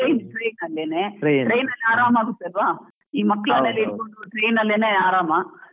ನಾವ್ Train, train train ಅಲ್ಲಿ ಅರಾಮ್ ಆಗುತ್ತೆ ಆಲ್ವಾ, ಮಕ್ಳನ್ನೆಲ್ಲ ಹಿಡ್ಕೊಂಡ್ train ಅಲ್ಲೇನೇ ಆರಾಮ.